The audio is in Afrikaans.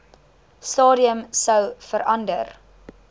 stadium sou verander